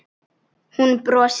Hún brosir.